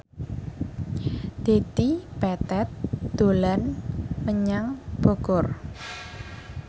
Dedi Petet dolan menyang Bogor